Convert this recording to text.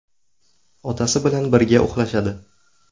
Otasi bilan birga uxlashadi.